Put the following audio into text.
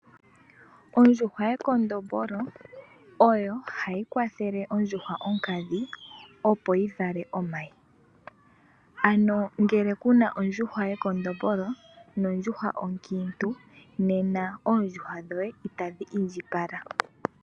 Ondjuhwa yekondombolo oyo hayi kwathele ondjuhwa onkadhi, opo yi vale omayi. Ano ngele ku na ondjuhwa yekondombolo nondjuhwa onkiintu nena oondjuhwa dhoye itadhi indjipala.